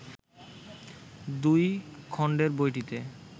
দুই খণ্ডের বইটিতে